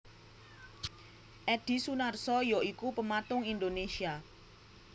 Edhi Sunarso ya iku pematung Indonésia